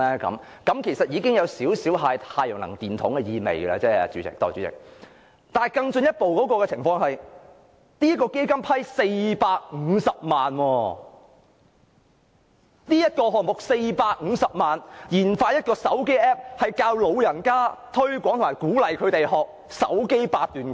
這其實已有少許"太陽能電筒"的意味，代理主席，但更進一步的情況是，這項目獲創科基金撥款450萬元，研發一個智能手機 App， 教導、推廣及鼓勵長者學習"手機八段錦"。